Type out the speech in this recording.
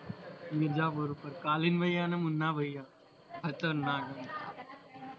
મિરઝાપુર પર કાલિન ભૈયા અને મુન્ના ભૈયા ખતરનાક